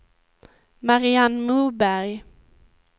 Marianne Moberg